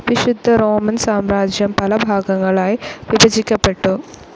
വിശുദ്ധ റോമൻ സാമ്രാജ്യം പലഭാഗങ്ങളായി വിഭജിക്കപ്പെട്ടു.